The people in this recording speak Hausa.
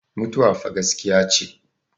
mutuwa fa gaskiya ce